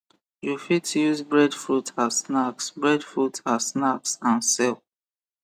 u fit use breadfruit as snacks breadfruit as snacks and sell